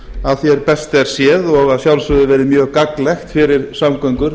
að því best er séð og að sjálfsögðu verið mjög gagnlegt fyrir samgöngur